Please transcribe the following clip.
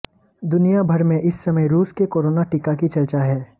दुनिया भर में इस समय रूस के कोरोना टीका की चर्चा है